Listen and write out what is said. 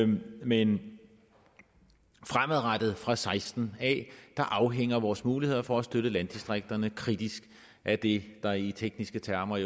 men fremadrettet fra seksten afhænger vores muligheder for at støtte landdistrikterne kritisk af det der i tekniske termer